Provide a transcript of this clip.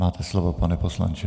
Máte slovo, pane poslanče.